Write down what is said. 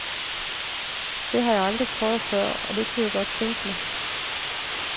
Det har jeg aldrig prøvet før, og det kunne jeg godt tænke mig.